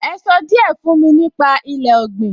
Ẹ sọ díẹ̀ fún mi si nípa ilé ọ̀gbìn?